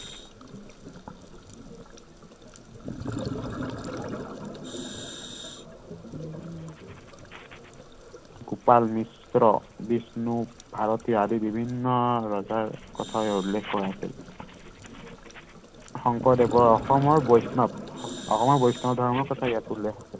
গোপাল বিষ্ণু ভাৰতীয় আদি বিভিন্ন ৰজাৰ কথাও ইয়াত উল্লেখ কৰা আছিল শংকৰদেৱৰ অসমৰ বৈষ্ণৱ অসমৰ বৈষ্ণৱ ধৰ্মৰ কথা ইয়াত উল্লেখ আছে